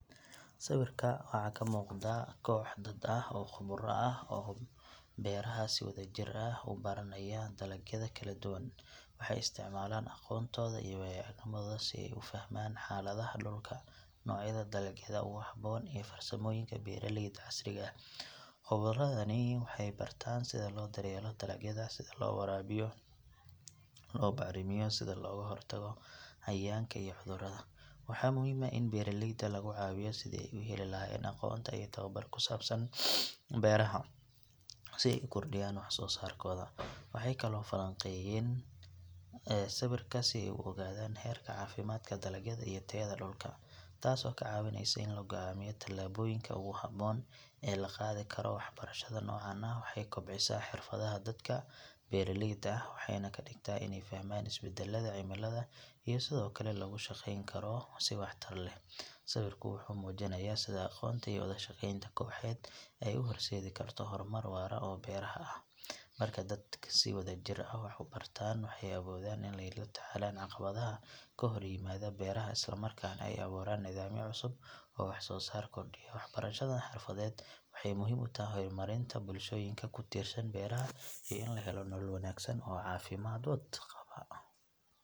Sawirka waxaa ka muuqda koox dad ah oo khubaro ku ah beeraha oo si wadajir ah u baranaya dalagyada kala duwan. Waxay isticmaalaan aqoontooda iyo waayo aragnimadooda si ay u fahmaan xaaladaha dhulka, noocyada dalagyada ugu habboon iyo farsamooyinka beeralayda casriga ah. Khubaradani waxay bartaan sida loo daryeelo dalagyada, sida loo waraabiyo, loo bacrimiyo iyo sida looga hortago cayayaanka iyo cudurrada. Waxaa muhiim ah in beeraleyda laga caawiyo sidii ay u heli lahaayeen aqoon iyo tababar ku saabsan beeraha si ay u kordhiyaan wax soo saarkooda. Waxay kaloo falanqeeyaan sawirka si ay u ogaadaan heerka caafimaadka dalagyada iyo tayada dhulka, taasoo ka caawinaysa in la go’aamiyo talaabooyinka ugu habboon ee la qaadi karo. Waxbarashada noocan ah waxay kobcisaa xirfadaha dadka beeraleyda ah waxayna ka dhigtaa inay fahmaan isbedelada cimilada iyo sida loogu shaqeyn karo si waxtar leh. Sawirku wuxuu muujinayaa sida aqoonta iyo wada shaqeynta kooxeed ay u horseedi karto horumar waara oo beeraha ah. Marka dadku si wadajir ah wax u bartaan, waxay awoodaan inay la tacaalaan caqabadaha ka hor yimaada beeraha isla markaana ay abuuraan nidaamyo cusub oo wax soo saar kordhiya. Waxbarashadan xirfadeed waxay muhiim u tahay horumarinta bulshooyinka ku tiirsan beeraha iyo in la helo nolol wanaagsan oo caafimaad qaba.